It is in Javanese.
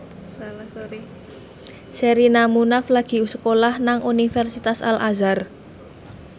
Sherina Munaf lagi sekolah nang Universitas Al Azhar